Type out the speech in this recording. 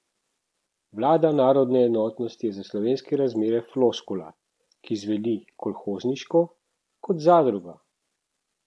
Vlada narodne enotnosti je za slovenske razmere floskula, ki zveni kolhozniško, kot zadruga.